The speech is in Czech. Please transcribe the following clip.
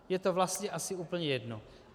Je to vlastně asi úplně jedno.